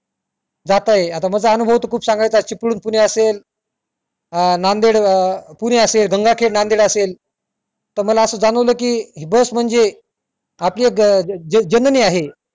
जात आहे माझा अनुभव त खूप सांगायचा चिपळूण पुणे असेल अं नांदेड अं पुणे असेल गंगाखेड नांदेड असेल त मला अस जाणवले कि हि बस म्हणजे आपली ज जननी आहे